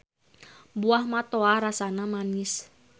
Buah matoa rasana manis.